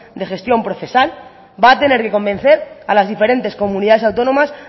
de gestión procesal va a tener que convencer a las diferentes comunidades autónomas